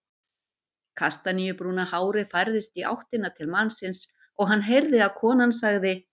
Kastaníubrúna hárið færðist í áttina til mannsins og hann heyrði að konan sagði